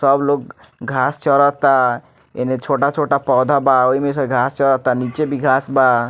सब लोग घास चरता एने छोटा छोटा पौधा बा ओएमे से घास चरता निचे भी घास बा।